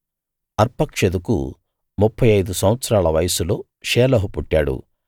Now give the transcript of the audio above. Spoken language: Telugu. అర్పక్షదుకు ముప్ఫై ఐదు సంవత్సరాల వయస్సులో షేలహు పుట్టాడు